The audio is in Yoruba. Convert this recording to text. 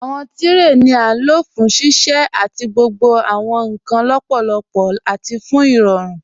Awọn tirẹ ni a lo fún ṣíṣẹ̀ àti gbogbo awọn nkan lọ́pọlọ́pọ̀ àti fún irọ̀rùn.